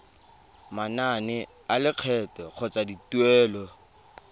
manane a lekgetho kgotsa dituelo